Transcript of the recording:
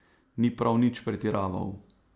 Ni prav nič pretiraval.